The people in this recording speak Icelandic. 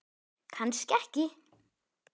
Kannski ekki.